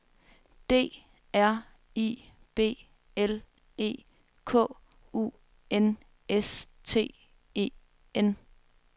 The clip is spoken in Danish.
D R I B L E K U N S T E N